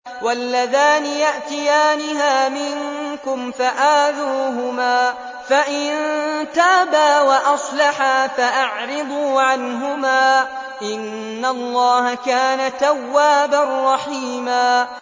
وَاللَّذَانِ يَأْتِيَانِهَا مِنكُمْ فَآذُوهُمَا ۖ فَإِن تَابَا وَأَصْلَحَا فَأَعْرِضُوا عَنْهُمَا ۗ إِنَّ اللَّهَ كَانَ تَوَّابًا رَّحِيمًا